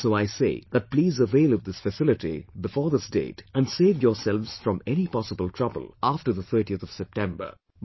And so I say that please avail of this facility before this date and save yourselves from any possible trouble after the 30th of September